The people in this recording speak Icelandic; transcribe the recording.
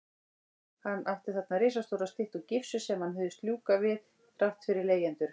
Hann átti þarna risastóra styttu úr gifsi sem hann hugðist ljúka við þrátt fyrir leigjendur.